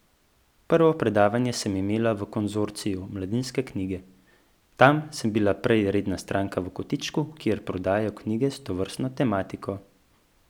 Prvo predavanje sem imela v Konzorciju Mladinske knjige, tam sem bila prej redna stranka v kotičku, kjer prodajajo knjige s tovrstno tematiko.